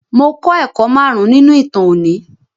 Mo klọ́ ẹ̀kọ́ márùn-ún nínú ìtàn òní.